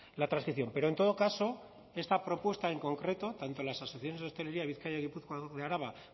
la transición pero en todo caso esta propuesta en concreto tanto las asociaciones de hostelería de bizkaia gipuzkoa y araba